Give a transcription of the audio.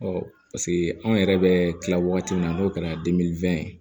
paseke anw yɛrɛ bɛ kila wagati min na n'o kɛra